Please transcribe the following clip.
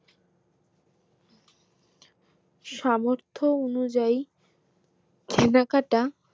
সামর্থ অনুযায়ী কেনাকাটা